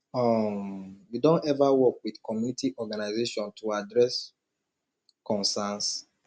um you don ever work with community organization to address concerns